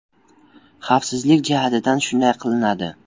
Xavfsizlik jihatidan shunday qilinadi.